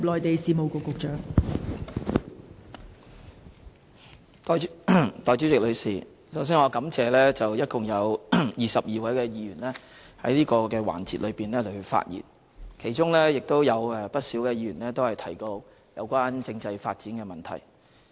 代理主席，首先我感謝一共22位議員在此環節發言，其中不少議員提到有關政制發展的問題。